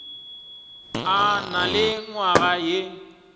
a na le nywaga ye